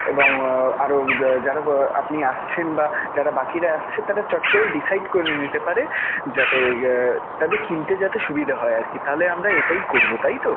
এবং আরও যারা আপনি আসছেন বা যারা বাকিরা আসছে তাঁরা চট করেই decide করে নিতে পারে যাতে তাঁদের কিনতে যাতে সুবিধা হয় আরকি. তাহলে আমরা এটাই করবো তাইতো?